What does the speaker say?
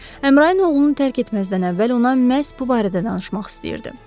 Əmrayin oğlunu tərk etməzdən əvvəl ona məhz bu barədə danışmaq istəyirdi.